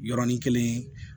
Yɔrɔnin kelen